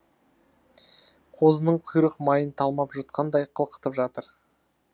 қозының құйрық майын талмап жұтқандай қылқытып жатыр